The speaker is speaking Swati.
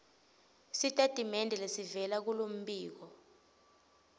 sitatimende lesivela kulombiko